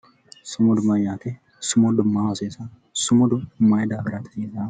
Sumudu mayyaate sumudu maaho hasiisanno sumudu mayi daafiraati hasiisaahu